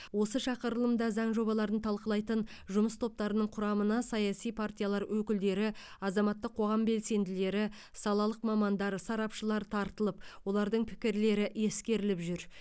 осы шақырылымда заң жобаларын талқылайтын жұмыс топтарының құрамына саяси партиялар өкілдері азаматтық қоғам белсенділері салалық мамандар сарапшылар тартылып олардың пікірлері ескеріліп жүр